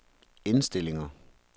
indstillinger